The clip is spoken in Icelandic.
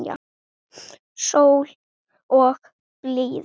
Sól og blíða.